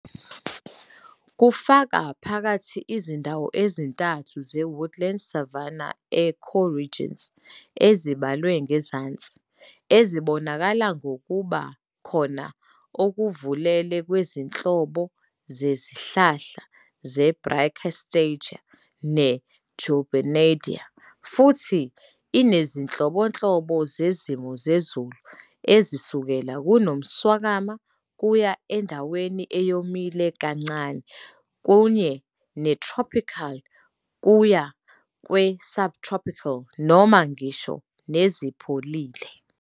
Kufaka phakathi izindawo ezintathu ze-woodland savanna ecoregions, ezibalwe ngezansi, ezibonakala ngokuba khona okuvelele kwezinhlobo zezihlahla ze"-Brachystegia" ne"-Julbernardia", futhi inezinhlobonhlobo zezimo zezulu ezisukela kunomswakama kuya endaweni eyomile kancane, kanye ne-tropical kuya kwe-subtropical noma ngisho nezipholile.